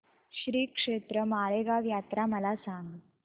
श्रीक्षेत्र माळेगाव यात्रा मला सांग